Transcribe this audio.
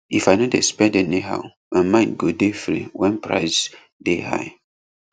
if i no dey spend anyhow my mind go dey free when price dey high